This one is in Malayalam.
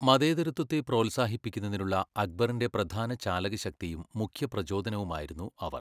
മതേതരത്വത്തെ പ്രോത്സാഹിപ്പിക്കുന്നതിനുള്ള അക്ബറിന്റെ പ്രധാന ചാലകശക്തിയും മുഖ്യ പ്രചോദനവുമായിരുന്നു അവർ.